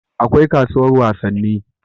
akwai kasuwar wasanni